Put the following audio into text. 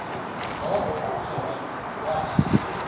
daarop gemik was